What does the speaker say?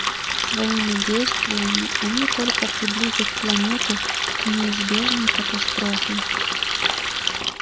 своими действиями они только приблизят планету к неизбежной катастрофе